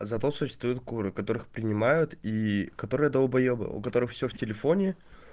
зато существуют куры которых принимают и которая долбаебы у которых всё в телефоне